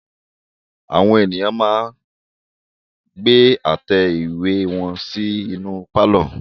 Àwọn ènìyàn máa ń gbé àtẹ ìwé wọn sí inú pálọ̀.